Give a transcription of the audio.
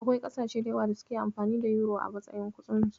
Akwai ƙasashe da yawa da suke amfani da yuro a matsayin kuɗinsu.